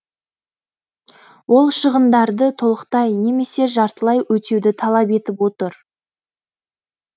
ол шығындарды толықтай немесе жартылай өтеуді талап етіп отыр